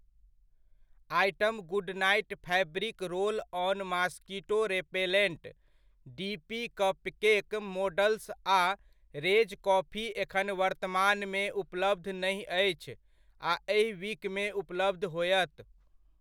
Item good night fabric roll on mosquito repellent, D P cupcake molds आ Rage coffee एखन वर्तमानमे उपलब्ध नहि अछि, आ एहि वीकमे उपलब्ध होयत।